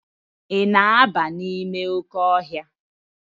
Ị na-aba n'ime oke ọhịa?